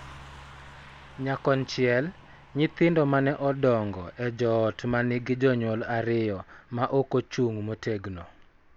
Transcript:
Nyakonchiel, nyithindo ma ne odongo e joot ma nigi jonyuol ariyo ma ok ochung� motegno .